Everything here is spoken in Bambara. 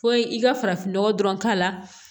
Fo i ka farafinnɔgɔ dɔrɔn k'a la